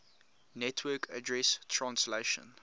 network address translation